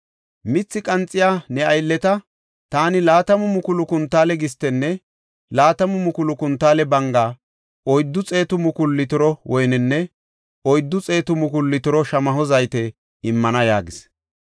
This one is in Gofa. Mithi qanxiya ne aylleta taani laatamu mukulu kuntaale gistenne laatamu mukulu kuntaale banga, oyddu xeetu mukulu litiro woynenne oyddu xeetu mukulu litiro shamaho zayte immana” yaagis.